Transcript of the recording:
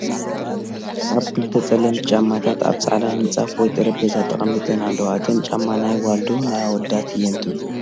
ኣብ ክልተ ፀለምቲ ጫማታት ኣብ ፃዕዳ ምንፃፍ ወይ ጠረጼዛ ተቐሚጠን ኣለዋ፡፡ እተን ጫማ ናይ ጓል ዶ ናይ ኣወዳት እየን ትብሉ?